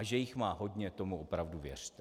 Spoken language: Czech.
A že jich má hodně, tomu opravdu věřte.